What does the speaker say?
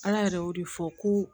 Ala yɛrɛ y'o de fɔ ko